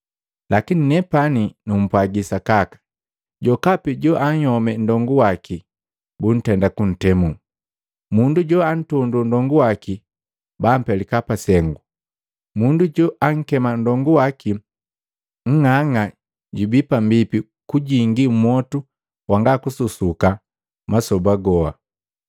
Lakini nepani numpwagi sakaka, jokapi joanhyome ndongu waki, buntenda kuntemu. Mundu joantondo nndongu waki bampelika pasengu. Mundu joankema nndongu waki, ‘Nng'ang'a’ jubii pambipi kujingi mmwotu wanga kususuka masoba goa.”